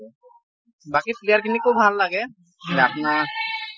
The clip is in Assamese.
বাকী player খিনিকো ভাল লাগে আপোনাৰ